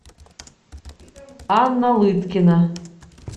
анна лыткина